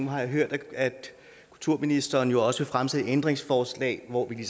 har hørt at kulturministeren også vil fremsætte ændringsforslag hvor vi